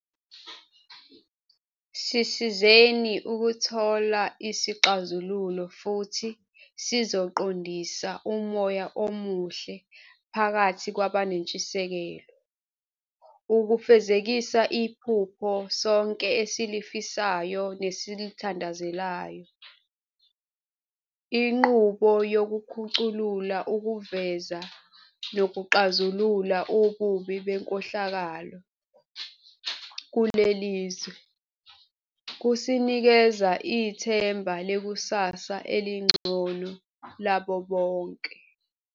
Sisizeni ukuthola isixazululo futhi sizoqondisa umoya omuhle phakathi kwabanentshisekelo ukufezekisa iphupho sonke esilifisayo nesilithandazelayo. Inqubo yokukhuculula ukuveza nokuxazulula ububi benkohlakalo kuleli zwe, kusinikeza ithemba lekusasa elingcono labo bonke.